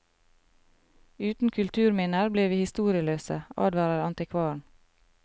Uten kulturminner blir vi historieløse, advarer antikvaren.